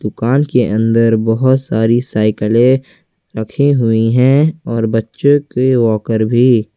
दुकान के अंदर बहुत सारी साइकिले रखी हुई है और बच्चों के वॉकर भी।